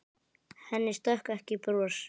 Henni stökk ekki bros.